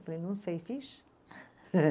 Falei, não sei, fiz?